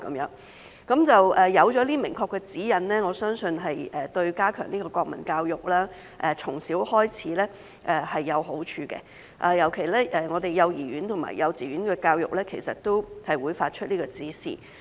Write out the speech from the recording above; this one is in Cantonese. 有了明確指引後，我相信對於從小開始加強國民教育是有好處的，特別是對幼兒園和幼稚園的教育其實也會發出這個指示。